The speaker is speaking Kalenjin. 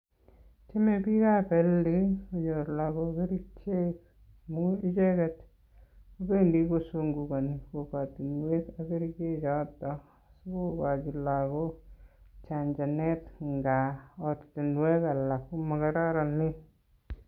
Tyeme biikab health konyor lagok kerichek amun icheget kobendi kusungukoni kokwotinwek ak kerichekchoton asi kogachi lagok chanjenet ngab ortinwek alak komokororonen.